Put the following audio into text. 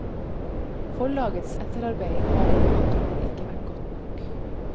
Forlagets etterarbeid har med andre ord ikke vært godt nok.